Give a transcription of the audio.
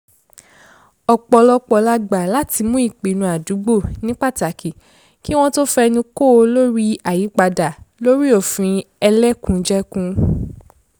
ọpọlọpọ lo gbà láti mú ìpinnu àdúgbò ní pátákì kí wọ́n tó fẹnu kò lórí àyípadà lórí òfin ẹlẹ́kùnjẹkùn